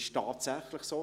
Es ist tatsächlich so: